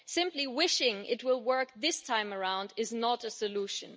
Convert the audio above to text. Simply wishing it will work this time around is not a solution.